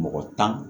Mɔgɔ tan